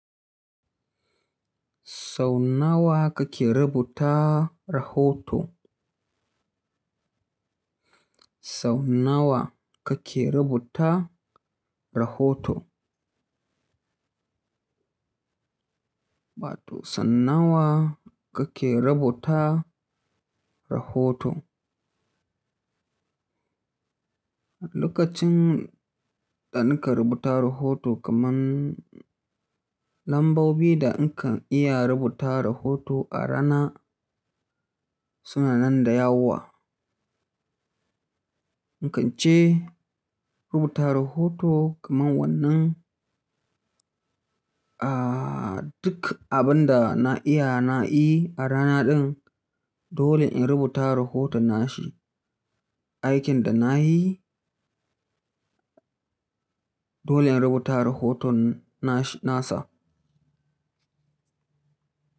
Sau nawa kake rubuta rahoto? Sau nawa kake rubuta rahoto? Ba to, sau nawa kake rubuta rahoto? Lokacin da nake rubuta rahoto kaman lambobi da in kan iya rubuta rahoto a rana suna nan da yawa. In kan ce rubuta rahoto kaman wannan, ah, duk abin da na iya, na yi a rana din, dole in rubuta rahoton nashi. Aikin da na yi, dole in rubuta rahoton nashi nasa.